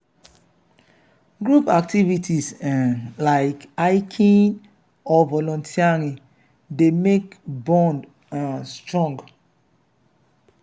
group activities um like hiking or volunteering dey make bond um strong